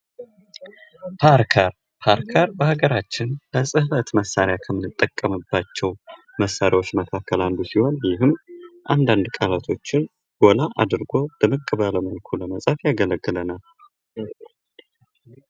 ፓርከር ፡ፓርከር በሀገራችን ለጽህፈት መሳሪያ ከምንጠቀምባቸው መሳሪያዎች መካከል አንዱ ሲሆን አንዳድ ቃላቶችን ጎላ አድርጎ ለመጻፍ ያገለግለናል።